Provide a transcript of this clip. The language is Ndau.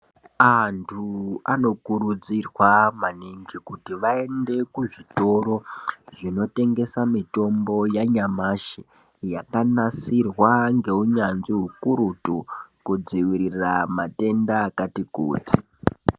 Antu anokurudzirwa maningi kuti aende kuzvitoro zvinotengese mitombo yanyamashi yakanasirwa ngeunyanzvi ukururutu kudzivirira matenda akatikuti.